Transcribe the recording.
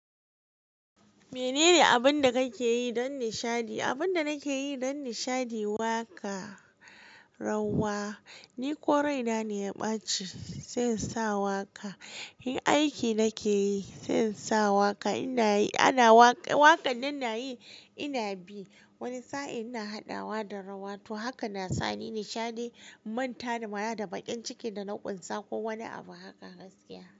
Menene abin da kake yi don nishaɗi? Abin da nake yi don nishaɗi, waƙa, rawa, ni ko raina ne ya ɓace sai in sa waƙa. In aiki nake yi sai in sa waƙa. Ina yi, ana waƙa. Waƙar da na yi ina bi. Wani sa'in ina haɗawa da rawa. To haka na sani nishaɗi, in manta da mara da baƙin ciki da na ƙunsa ko wani abu haka gaskiya.